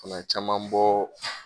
O la caman mi bɔ